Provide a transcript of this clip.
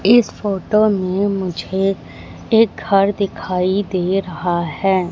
इस फोटो में मुझे एक घर दिखाई दे रहा हैं।